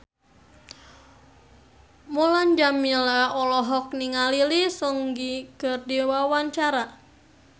Mulan Jameela olohok ningali Lee Seung Gi keur diwawancara